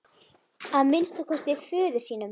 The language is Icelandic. Að minnsta kosti föður sínum.